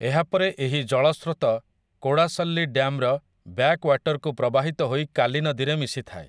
ଏହାପରେ ଏହି ଜଳସ୍ରୋତ କୋଡାସଲ୍ଲି ଡ୍ୟାମ୍ର ବ୍ୟାକ୍‌ୱାଟର୍‌କୁ ପ୍ରବାହିତ ହୋଇ କାଲୀ ନଦୀରେ ମିଶିଥାଏ ।